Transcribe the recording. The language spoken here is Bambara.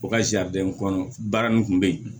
U ka kɔnɔ baara nin kun bɛ yen